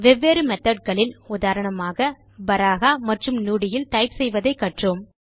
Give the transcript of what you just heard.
வெவ்வேறு மெத்தோட் களில் உதாரணமாக பராஹா மற்றும் நுடி இல் டைப் செய்வதை கற்றோம்